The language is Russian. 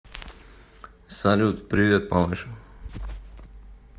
салют привет малыш